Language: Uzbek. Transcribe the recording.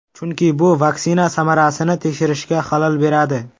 Chunki bu vaksina samarasini tekshirishga xalal beradi.